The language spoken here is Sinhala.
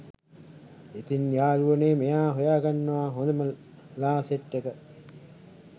ඉතින් යාළුවනේ මෙයා හොයගන්නවා හොඳම ලා සෙට් එක.